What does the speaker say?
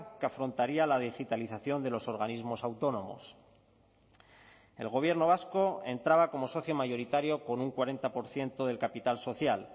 que afrontaría la digitalización de los organismos autónomos el gobierno vasco entraba como socio mayoritario con un cuarenta por ciento del capital social